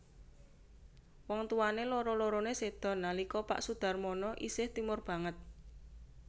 Wong tuwané loro loroné séda nalika pak Soedharmono isih timur banget